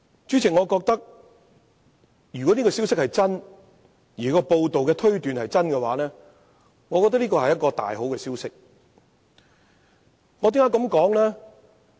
假設這個消息是真的，而報道中的推斷亦屬正確，我認為這真是個大好消息，為甚麼呢？